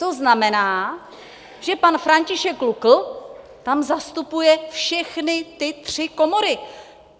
To znamená, že pan František Lukl tam zastupuje všechny ty tři komory!